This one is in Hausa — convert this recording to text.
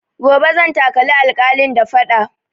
Gobe zan takali alƙalin da faɗa